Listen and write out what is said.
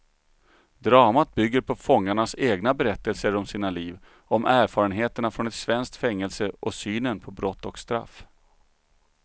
Dramat bygger på fångarnas egna berättelser om sina liv, om erfarenheterna från ett svenskt fängelse och synen på brott och straff.